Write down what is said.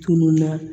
Tununna